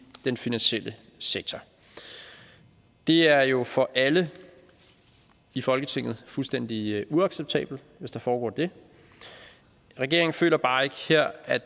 den finansielle sektor det er jo for alle i folketinget fuldstændig uacceptabelt hvis der foregår det regeringen føler bare ikke her at